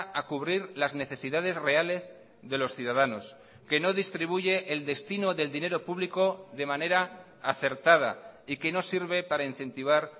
a cubrir las necesidades reales de los ciudadanos que no distribuye el destino del dinero público de manera acertada y que no sirve para incentivar